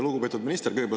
Lugupeetud minister!